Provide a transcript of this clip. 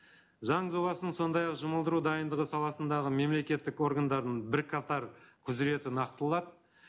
заң жобасын сондай ақ жұмылдыру дайындығы саласындағы мемлекеттік органдардың бірқатар құзыреті